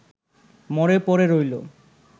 মরে পড়ে রইল